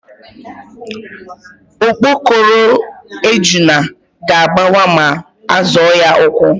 Okpokoro ejuna ga-agbawa ma a zọọ ya ụ́kwụ́.